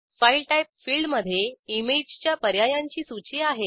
file type फिल्डमधे इमेजच्या पर्यायांची सूची आहे